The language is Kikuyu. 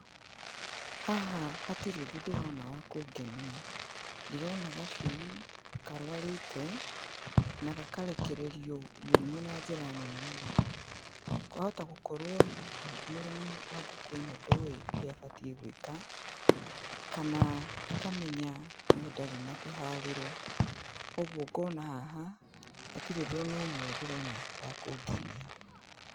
Haha hatirĩ ũndũ ndĩrona wa kũngenia, ndĩrona gacui karwarĩte, na gakarekererio mũrimũ na njĩra nene mũno, kwahota gũkorwo hihi mũrĩmi wa ngũkũ ĩno ndoĩ ũrĩa abatiĩ gwĩka, kana akamenya no ndarĩ na kĩharĩro, koguo ngona haha hatirĩ ũndũ ona ũmwe ndĩrona wakũngenia.